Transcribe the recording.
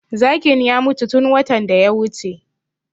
Zakin ya mutu tun watan da ya wuce